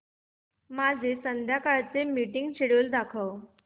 माझे संध्याकाळ चे मीटिंग श्येड्यूल दाखव